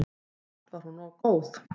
Samt var hún góð.